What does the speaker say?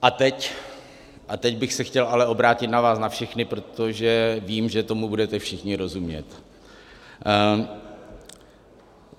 A teď bych se chtěl ale obrátit na vás na všechny, protože vím, že tomu budete všichni rozumět.